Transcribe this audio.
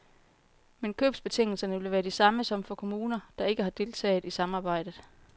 Men købsbetingelserne vil være de samme som for kommuner, der ikke har deltaget i samarbejdet.